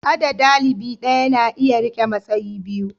a da dalibi daya na iya rike matsayi biyu